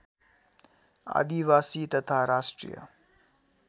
आदिवासी तथा राष्ट्रिय